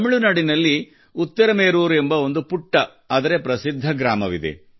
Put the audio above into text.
ತಮಿಳುನಾಡಿನಲ್ಲಿ ಉತಿರಮೆರೂರ್ ಎಂಬ ಒಂದು ಪುಟ್ಟ ಆದರೆ ಪ್ರಸಿದ್ಧ ಗ್ರಾಮವಿದೆ